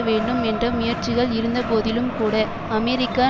வேண்டும் என்ற முயற்சிகள் இருந்தபோதிலும் கூட அமெரிக்கா